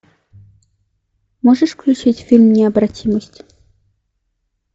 можешь включить фильм необратимость